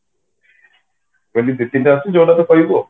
ତମେ କହିବ